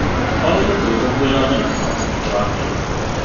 O hĩndĩ tũgĩkũngũĩra thenema, nĩ tũrakena.